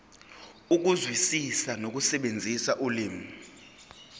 ukuzwisisa nokusebenzisa ulimi